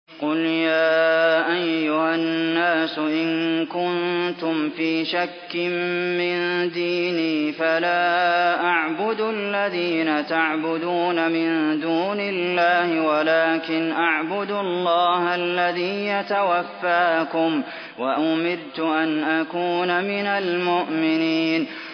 قُلْ يَا أَيُّهَا النَّاسُ إِن كُنتُمْ فِي شَكٍّ مِّن دِينِي فَلَا أَعْبُدُ الَّذِينَ تَعْبُدُونَ مِن دُونِ اللَّهِ وَلَٰكِنْ أَعْبُدُ اللَّهَ الَّذِي يَتَوَفَّاكُمْ ۖ وَأُمِرْتُ أَنْ أَكُونَ مِنَ الْمُؤْمِنِينَ